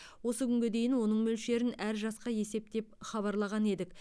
осы күнге дейін оның мөлшерін әр жасқа есептеп хабарлаған едік